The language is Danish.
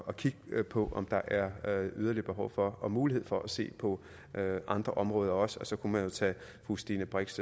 at kigge på om der er yderligere behov for og mulighed for at se på andre områder også og så kan man jo tage fru stine brix